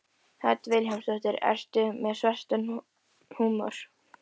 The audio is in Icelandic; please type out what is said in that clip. Hödd Vilhjálmsdóttir: Ertu með svartan húmor?